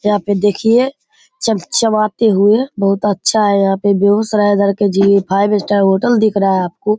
यहाँ पे देखिये चम-चमाते हुए बहुत अच्छा है। यहाँ पे बेगुसराय इधर के जी फाइव स्टार होटल दिख रहा है आपको ।